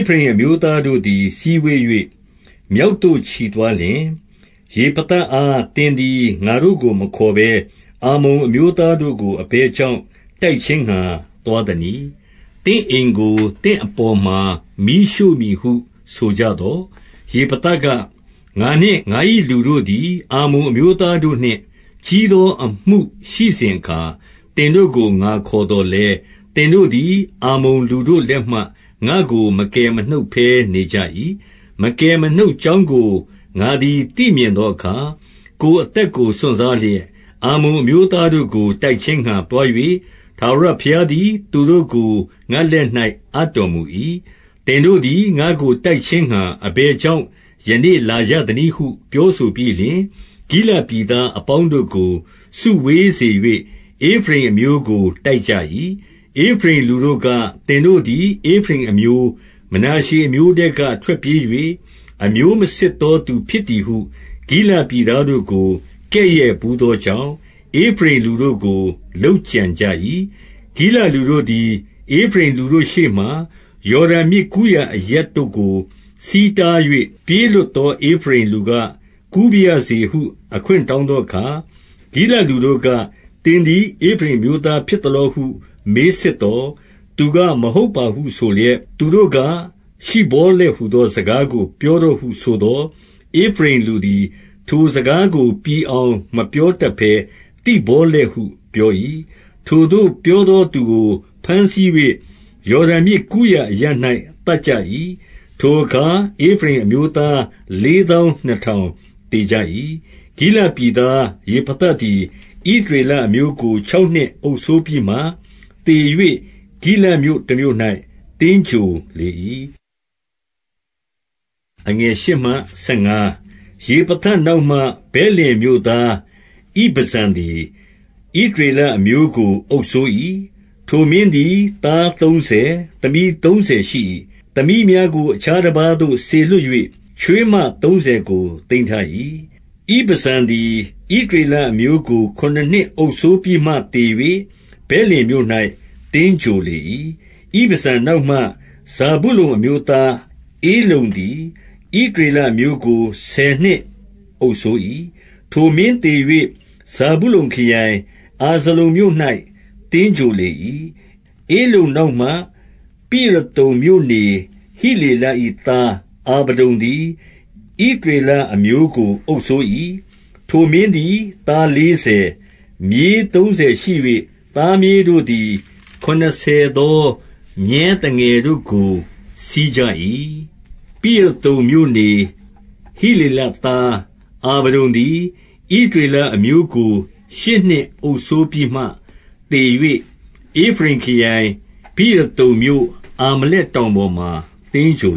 ဖရိမ်အမျိုးသားတို့သည် စည်းဝေး၍ မြောက်သို့ ချီသွားလျှင်၊ ယေဖသအား သင်သည် ငါတို့ကို မခေါ်ဘဲ၊ အမ္မုန်အမျိုးသားတို့ကို အဘယ်ကြောင့် တိုက်ခြင်းငှါ သွားသနည်း။ သင့်အိမ်ကို သင့်အပေါ်မှာ မီးရှို့မည်ဟု ဆိုကြသော်၊ 2 ယေဖသက၊ ငါနှင့် ငါ၏လူတို့သည် အမ္မုန်အမျိုးသားတို့နှင့် ကြီးသောအမှု ရှိစဉ်အခါ၊ သင်တို့ကို ငါခေါ်သော်လည်း၊ သင်တို့သည် အမ္မုန်လူတို့လက်မှ ငါ့ကို မကယ်မနှုတ်ဘဲ နေကြ၏။ 3 မကယ်မနှုတ်ကြောင်းကို ငါသည် သိမြင်သောအခါ၊ ကိုယ်အသက်ကို စွန့်စားလျက် အမ္မုန်အမျိုးသား တို့ကို တိုက်ခြင်းငှါ သွား၍ ထာဝရဘုရားသည် သူတို့ကို ငါ့လက်၌ အပ်တော်မူ၏။ သင်တို့သည် ငါ့ကို တိုက်ခြင်းငှါ အဘယ်ကြောင့် ယနေ့ လာကြသနည်းဟု ပြောဆိုပြီးလျှင်၊ 4 ဂိလဒ်ပြည်သားအပေါင်းတို့ကို စုဝေးစေ၍ ဧဖရိမ်အမျိုးကို တိုက်ကြ၏။ ဧဖရိမ်လူတို့က၊ သင်တို့သည် ဧဖရိမ်အမျိုး၊ မနာရှေအမျိုးထဲက ထွက်ပြေး၍ အမျိုးမစစ်သောသူ ဖြစ်သည်ဟု ဂိလဒ်ပြည်သားတို့ကို ကဲ့ရဲ့ဘူးသောကြောင့်၊ ဧဖရိမ်လူတို့ကို လုပ်ကြံကြ၏။ 5 ဂိလဒ်လူတို့သည် ဧဖရိမ်လူတို့ရှေ့မှာ ယော်ဒန်မြစ်ကူးရာအရပ်တို့ကို ဆီးတား၍ ပြေးလွတ်သော ဧဖရိမ်လူက၊ ကူးပါရစေဟု အခွင့်တောင်းသောအခါ၊ ဂိလဒ်လူတို့က၊ သင်သည် ဧဖရိမ်အမျိုးသား ဖြစ်သလောဟု မေးစစ်သော်၊ သူက မဟုတ်ပါဟု ဆိုလျှင်၊ 6 သူတို့က၊ ရှိဗောလက်ဟူသော စကားကို ပြောတော့ဟုဆိုသော်၊ ဧဖရိမ်လူသည် ထိုစကားကို ပြီအောင် မပြောတတ်ဘဲ သိဗောလက်ဟု ပြော၏။ ထိုသို့ပြောသောသူကို ဘမ်းဆီး၍ ယော်ဒန်မြစ်ကူးရာအရပ် ၌ သတ်ကြ၏။ ထိုအခါ ဧဖရိမ်အမျိုးသား လေးသောင်းနှစ်ထောင် သေကြ၏။ 7 ဂိလဒ်ပြည်သားယေဖသသည် ဣသရေလအမျိုးကို ခြောက်နှစ်အုပ်စိုးပြီးမှ သေ၍ ဂိလဒ်မြို့တမြို့၌ သင်္ဂြိုဟ်လေ၏။ 8 ယေဖသနောက်မှ ဗက်လင်မြို့သား ဣဗဇန်သည်၊ ဣသရေလအမျိုးကို အုပ်စိုး၏။ 9 ထိုမင်းသည် သားသုံးဆယ်၊ သမီးသုံးဆယ် ရှိ၏။ သမီးများကို အခြားတပါးသို့ စေလွှတ်၍ ချွေးမ သုံးဆယ်ကို သိမ်းထား၏။ 10 ဣဗဇန်သည် ဣသရေလအမျိုးကို ခုနစ်နှစ်အုပ်စိုးပြီးမှ သေ၍ ဗက်လင်မြို့၌ သင်္ဂြိုဟ်လေ၏။ 11 ဣဗဇန်နောက်မှ ဇာဗုလုန်အမျိုးသားဧလုန်သည်၊ ဣသရေလအမျိုးကို ဆယ်နှစ်အုပ်စိုး၏။ 12 ထိုမင်းသေ၍ ဇာဗုလုန်ခရိုင်၊ အာဇလုန်မြို့၌ သင်္ဂြိုဟ်လေ၏။ 13 ဧလုန်နောက်မှ ပိရသုန်မြို့နေ ဟိလေလ၏သား အာဗဒုန်သည်၊ ဣသရေလအမျိုးကို အုပ်စိုး၏။ 14 ထိုမင်းသည် သားလေးဆယ်၊ မြေးသုံးဆယ်ရှိ၍ သားမြေးတို့သည် ခုနစ်ဆယ်သော မြည်းသငယ်တို့ကို စီးကြ၏။ 15 ပိရသုန်မြို့ နေဟိလေလသား အာဗဒုန်သည်၊ ဣသရေလအမျိုးကို ရှစ်နှစ်အုပ်စိုးပြီးမှ သေ၍ ဧဖရိမ်ခရိုင်၊ ပိရသုန်မြို့၊ အာမလက်တောင်ပေါ်မှာ သင်္ဂြို